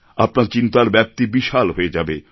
আপনার চিন্তার ব্যাপ্তি বিশাল হয়ে যাবে